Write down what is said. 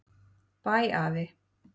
Bæ afi.